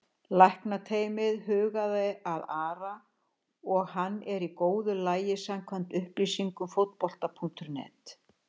Læknateymið hugaði að Ara og hann er í góðu lagi samkvæmt upplýsingum Fótbolta.net.